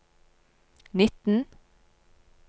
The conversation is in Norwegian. nitten